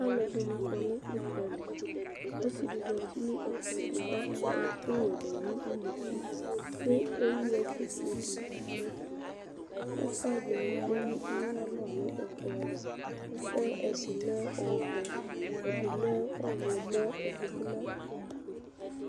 Alʋɛdɩnɩ kɔ nʋ ʋdza li Ɔsɩ dɩ zati nʋ ɛkplɔ ɛtʋ kʋ akɔ ɛkʋwɛ dʋ nʋ unuku kʋ ewu ɛkʋfue dɩ nʋ ɛtʋ Ʋfa dɩnɩ tsue nʋ ayalɔ nʋ ɛkplɔ ava Ʋfa yɛ ɛdɩ lɛ ɔvɛ, ɛdɩ lɛ ɔɣlɔmɔ, ɛdɩ bɩ lɛ ʋblʋ